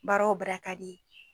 Baara o baara ka d'i ye